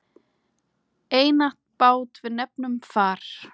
Einatt bát við nefnum far.